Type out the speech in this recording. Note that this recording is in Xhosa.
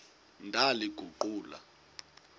ndaliguqula